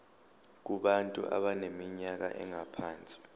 kubantu abaneminyaka engaphansi